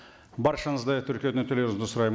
баршаңызды тіркеуден өтулеріңізді сұраймын